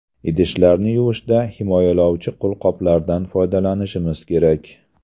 Idishlarni yuvishda himoyalovchi qo‘lqoplardan foydalanishimiz kerak.